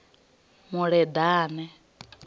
muleḓane